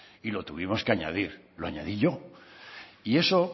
y lo tuvimos que añadir lo añadí yo y eso